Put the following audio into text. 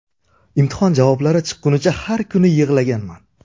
Imtihon javoblari chiqqunicha har kuni yig‘laganman.